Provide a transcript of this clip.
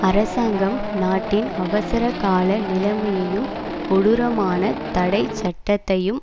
அரசாங்கம் நாட்டின் அவசரகால நிலைமையையும் கொடூரமான தடை சட்டத்தையும்